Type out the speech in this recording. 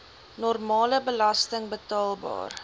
normale belasting betaalbaar